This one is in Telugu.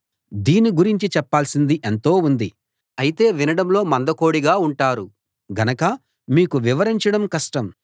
దీన్ని గురించి చెప్పాల్సింది ఎంతో ఉంది అయితే వినడంలో మందకొడిగా ఉంటారు గనక మీకు వివరించడం కష్టం